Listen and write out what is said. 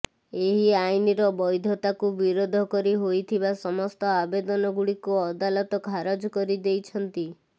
ଏହି ଆଇନର ବ୘ଧତାକୁ ବିରୋଧ କରି ହୋଇଥିବା ସମସ୍ତ ଆବେଦନଗୁଡ଼ିକୁ ଅଦାଲତ ଖାରଜ କରିଦେଛନ୍ତି